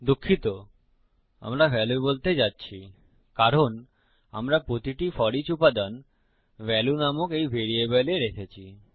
দুঃখিত আমরা ভ্যালু বলতে যাচ্ছি কারণ আমরা প্রতিটি ফোরিচ উপাদান ভ্যালু নামক এই ভ্যারিয়েবলে রেখেছি